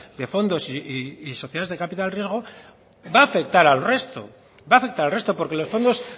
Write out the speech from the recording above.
de fondos y sociedades de capital riesgo va a afectar al resto va a afectar al resto porque los fondos